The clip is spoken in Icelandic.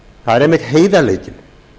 það er einmitt heiðarleikinn